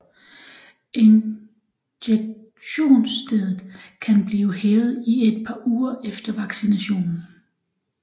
Injektionsstedet kan blive hævet i et par uger efter vaccinationen